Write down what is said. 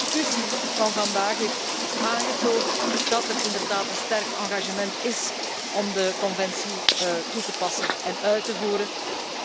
De discussie van vandaag heeft aangetoond dat er inderdaad een sterk engagement is om het verdrag toe te passen en uit te voeren,